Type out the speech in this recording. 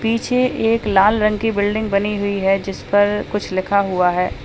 पीछे एक लाल रंग की बिल्डिंग बनी हुई है जिस पर कुछ लिखा हुआ है।